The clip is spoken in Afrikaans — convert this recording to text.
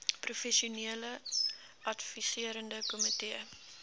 professionele adviserende komitee